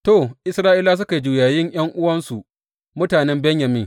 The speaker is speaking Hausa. To, Isra’ilawa suka yi juyayin ’yan’uwansu, mutanen Benyamin.